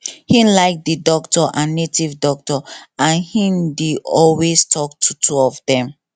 him like the doctor and native doctor and him dey alway talk to two of them